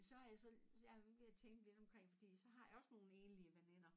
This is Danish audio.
Så har jeg så jeg jeg tænkte lidt omkring fordi så har jeg også nogen enlige veninder